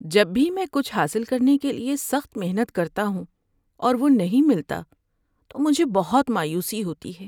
جب بھی میں کچھ حاصل کرنے کے لیے سخت محنت کرتا ہوں اور وہ نہیں ملتا تو مجھے بہت مایوسی ہوتی ہے۔